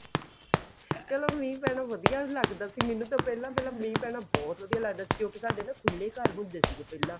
ਪਹਿਲਾਂ ਮੀਂਹ ਪੈਣਾ ਵਧੀਆ ਲੱਗਦਾ ਸੀ ਮੈਨੂੰ ਤਾਂ ਪਹਿਲਾਂ ਪਹਿਲਾਂ ਮੀਹ ਪੈਣਾ ਬਹੁਤ ਵਧੀਆ ਲੱਗਦਾ ਸੀ ਕਿਉਂਕਿ ਸਾਡੇ ਨਾ ਖੁੱਲੇ ਘਰ ਹੁੰਦੇ ਸੀ ਪਹਿਲਾਂ